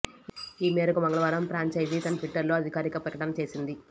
ఈ మేరకు మంగళవారం ప్రాంఛైజీ తన ట్విట్టర్లో అధికారిక ప్రకటన చేసింది